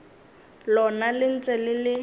lona le ntše le le